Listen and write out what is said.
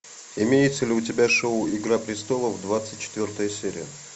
имеется ли у тебя шоу игра престолов двадцать четвертая серия